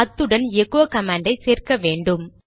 அத்துடன் எகோ கமாண்டை சேர்க்க வேண்டும்